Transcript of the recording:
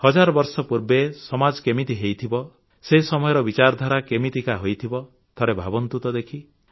ହଜାର ବର୍ଷ ପୂର୍ବେ ସମାଜ କେମିତି ହୋଇଥିବ ସେ ସମୟର ବିଚାରଧାରା କେମିତିକା ହୋଇଥିବ ଥରେ ଭାବନ୍ତୁ ତ ଦେଖି